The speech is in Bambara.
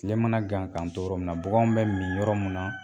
Tile mana gan k'an to yɔrɔ min baganw bɛ min yɔrɔ min na